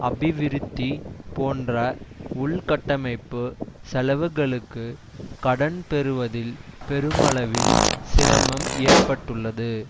அபிவிருத்தி போன்ற உள்கட்டமைப்பு செலவுகளுக்கு கடன் பெறுவதில் பெருமளவில் சிரமம் ஏற்பட்டுள்ளது